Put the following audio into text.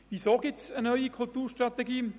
Weshalb gibt es eine neue Kulturstrategie?